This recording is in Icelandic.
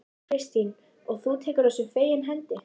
Kristín: Og þú tekur þessu fegins hendi?